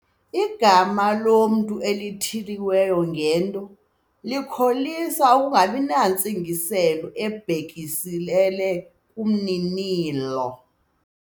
Igama lomntu elithiywe ngento likholisa ukungabi nantsingiselo ibhekiselele kumninilo.